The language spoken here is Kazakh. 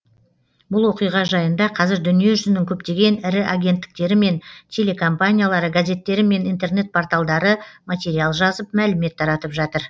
бұл оқиға жайында қазір дүниежүзінің көптеген ірі агенттіктері мен телекомпаниялары газеттері мен интернет порталдары материал жазып мәлімет таратып жатыр